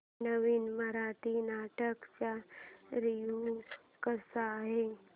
नवीन मराठी नाटक चा रिव्यू कसा आहे